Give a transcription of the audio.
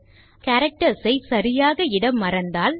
ஆகவே கேரக்டர்ஸ் ஐ சரியாக இட மறந்தால்